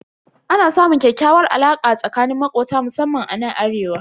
Ana samun ƙyakkyawar alaka tsakanin makobta musamman anan arewa.